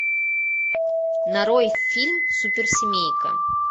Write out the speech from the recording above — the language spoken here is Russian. нарой фильм суперсемейка